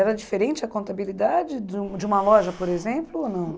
Era diferente a contabilidade de um de uma loja, por exemplo, ou não?